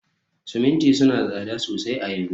siminti suna da tsada sosai a yanzu